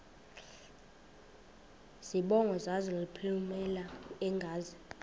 zibongo zazlphllmela engazi